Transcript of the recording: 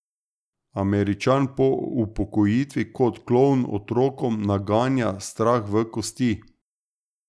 Američan po upokojitvi kot klovn otrokom naganja strah v kosti.